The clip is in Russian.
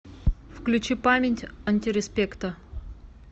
включи память антиреспекта